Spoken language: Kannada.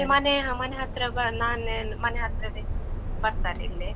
ಇಲ್ಲಿ ಮನೇ ಮನೆ ಹತ್ರವ ನಾನೇ ಮನೆ ಹತ್ರವೇ ಬರ್ತರೆ ಇಲ್ಲೇ.